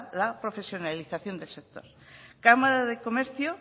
la profesionalización del sector cámara de comercio